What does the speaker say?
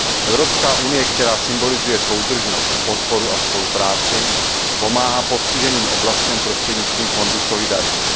Evropská unie, která symbolizuje soudržnost, podporu a spolupráci, pomáhá postiženým oblastem prostřednictvím Fondu solidarity.